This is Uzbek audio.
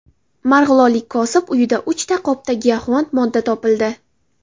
Marg‘ilonlik kosib uyida uchta qopda giyohvand modda topildi.